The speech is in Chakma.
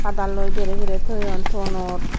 padaloi berey berey toyon tonor.